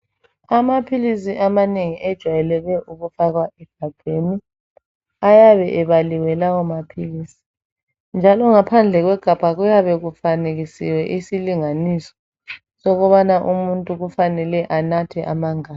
Amaphilisi amanengi ejwayeleke ukufakwa egabheni ayabe ebaliwe lawo maphilisi njalo ngaphandle kwegabha kuyabe kufanekisiwe isilinganiso sokubana umuntu kufanele anathe amangaki.